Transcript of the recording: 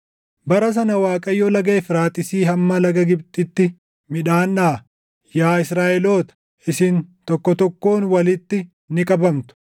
Bara sana Waaqayyo Laga Efraaxiisii hamma laga Gibxitti midhaan dhaʼa; yaa Israaʼeloota, isin tokko tokkoon walitti ni qabamtu.